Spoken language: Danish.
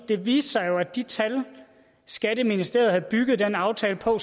det viste sig jo at de tal skatteministeriet havde bygget den aftale på